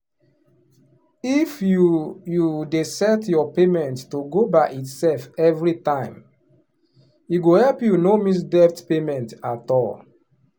if you you dey set your payment to go by itself every time e go help you no miss debt payment at all.